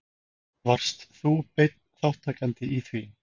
Varst þú beinn þátttakandi í því?